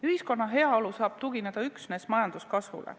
Ühiskonna heaolu saab tugineda üksnes majanduskasvule.